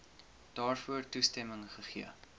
daarvoor toestemming gegee